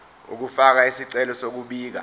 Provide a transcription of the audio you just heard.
ukufaka isicelo sokubika